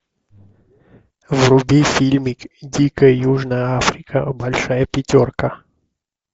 вруби фильмик дикая южная африка большая пятерка